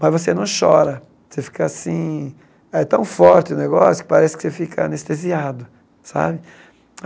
Mas você não chora, você fica assim, é tão forte o negócio que parece que você fica anestesiado, sabe?